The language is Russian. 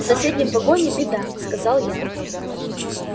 в соседнем вагоне беда сказал я